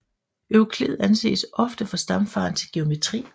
Euklid anses ofte for stamfaderen til geometri